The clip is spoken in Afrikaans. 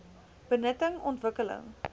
benutting ontwik keling